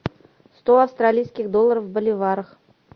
сто австралийских долларов в боливарах